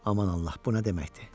Aman Allah, bu nə deməkdir?